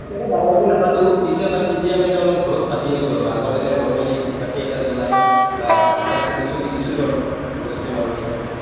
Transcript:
এতিয়াতো ডাঙৰকে নাপাতো। পিছে, but এতিয়া মানে অলপ ঘৰত পাতি আছো আৰু। আগতে না normally ধুপ কাঠি এটা জ্বলাই বা এটা ঠগি চগি দিছিলোঁ আৰু সৰস্বতী মাৰ ওচৰত।